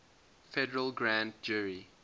federal grand jury